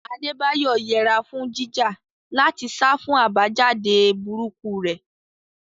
Adebayo yẹra fún jíjà láti sá fún àbájáde burúkú rẹ̀.